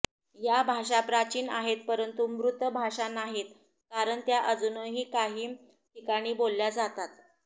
या भाषा प्राचीन आहेत परंतु मृत भाषा नाहीत कारण त्या अजूनही काही ठिकाणी बोलल्या जातात